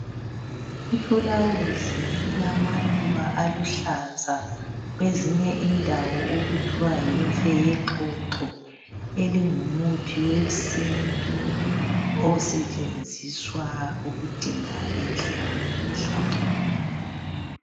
I fulawuzi elilama luba aluhlaza kwezinye indawo okuthiwa yimfe yexoxo elingumuthi wesintu osetshenziswa ukudinga inhlanhla.